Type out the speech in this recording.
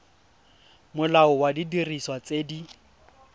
molao wa didiriswa tse di